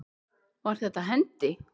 Var þetta hendi?